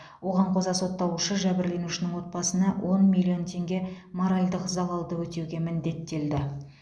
оған қоса сотталушы жәбірленушінің отбасына он миллион теңге моральдық залалды өтеуге міндеттелді